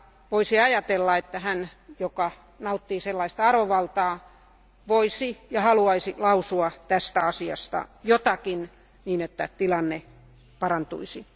Voisi ajatella, että hän, joka nauttii sellaista arvovaltaa, voisi ja haluaisi lausua tästä asiasta jotakin, niin että tilanne parantuisi.